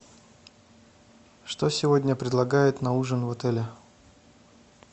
что сегодня предлагают на ужин в отеле